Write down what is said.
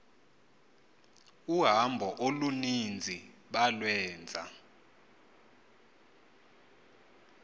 uhambo oluninzi balwenza